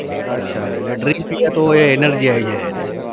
અચ્છા એટલે drink પીવે તો એ energy આઈ જાય એને